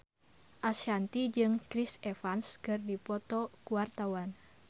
Ashanti jeung Chris Evans keur dipoto ku wartawan